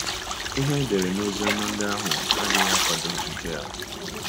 Ihe edere n' Oziọma ndị ahụ adịghị akwado nke a.